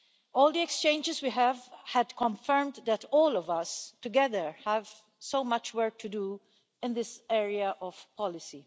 All the exchanges we have had have confirmed that all of us, together, have so much work to do in this area of policy.